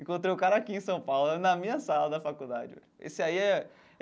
Encontrei o cara aqui em São Paulo, na minha sala da faculdade esse aí é.